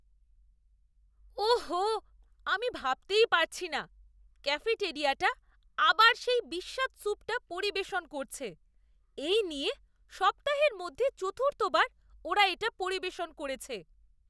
ওহ হো, আমি ভাবতেই পারছি না ক্যাফেটেরিয়াটা আবার সেই বিস্বাদ স্যুপটা পরিবেশন করছে। এই নিয়ে সপ্তাহের মধ্যে চতুর্থবার ওরা এটা পরিবেশন করেছে।